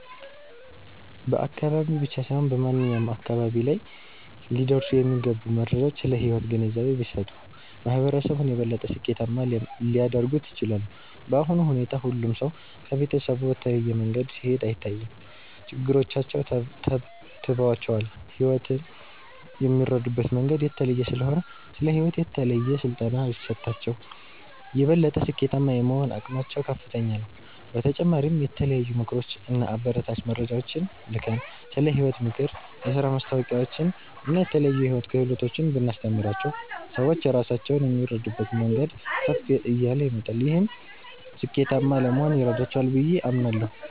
በአካባቢ ብቻ ሳይሆን በማንኛውም አካባቢ ላይ ሊደርሱ የሚገቡ መረጃዎች ስለ ሕይወት ግንዛቤ ቢሰጡ፣ ማህበረሰቡን የበለጠ ስኬታማ ሊያደርጉት ይችላሉ። በአሁኑ ሁኔታ ሁሉም ሰው ከቤተሰቡ በተለየ መንገድ ሲሄድ አይታይም፤ ችግሮቻቸው ተብትበዋቸዋል። ሕይወትን የሚረዱበት መንገድ የተለየ ስለሆነ፣ ስለ ሕይወት የተለየ ስልጠና ቢሰጣቸው፣ የበለጠ ስኬታማ የመሆን አቅማቸው ከፍተኛ ነው። በተጨማሪም የተለያዩ ምክሮች እና አበረታች መረጃዎችን ልከን፣ ስለ ሕይወት ምክር፣ የሥራ ማስታወቂያዎችን እና የተለያዩ የሕይወት ክህሎቶችን ብናስተምራቸው፣ ሰዎች ራሳቸውን የሚረዱበት መንገድ ከፍ እያለ ይመጣል። ይህም ስኬታማ ለመሆን ይረዳቸዋል ብዬ አምናለሁ።